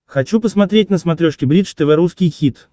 хочу посмотреть на смотрешке бридж тв русский хит